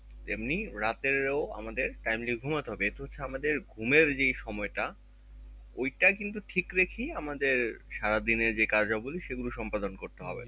এমনি রাতের ও আমাদের timely ঘুমোতে হবে এতো হচ্ছে আমাদের ঘুম এর যেই সময় টা ঐটা কিন্তু ঠিক রেখেই আমাদের সারা দিন এর যে কার্যাবলী সেগুলো সম্পাদন করতে হবে